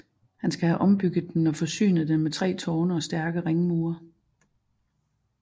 Han skal have ombygget den og forsynet den med 3 tårne og stærke ringmure